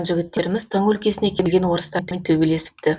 жігіттеріміз тың өлкесіне келген орыстармен төбелесіпті